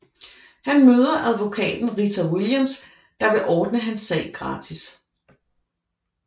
Han møder advokaten Rita Williams der vil ordne hans sag gratis